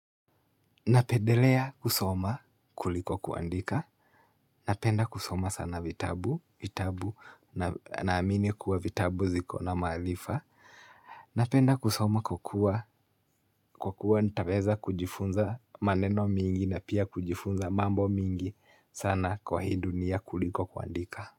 Napendelea kusoma kuliko kuandika. Napenda kusoma sana vitabu, vitabu na amini kuwa vitabu ziko na mahalifa. Napenda kusoma kwa kua kwa kua nitaweza kujifunza maneno mingi na pia kujifunza mambo mingi sana kwa hii dunia kuliko kuandika.